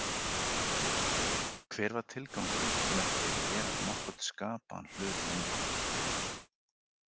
Hver var tilgangurinn með því að gera nokkurn skapaðan hlut lengur?